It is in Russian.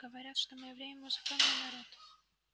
говорят что мы евреи музыкальный народ